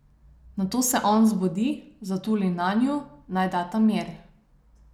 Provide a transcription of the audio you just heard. Nato se on zbudi, zatuli nanju, naj data mir ...